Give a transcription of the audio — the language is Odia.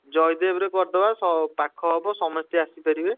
ଜୟଦେବରେ କରିଦେବା ସ~ ପାଖ ହବ ସମସ୍ତେ ଆସିପାରିବେ।